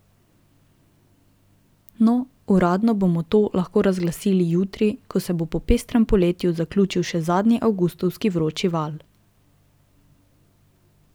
No, uradno bomo to lahko razglasili jutri, ko se bo po pestrem poletju zaključil še zadnji avgustovski vročinski val.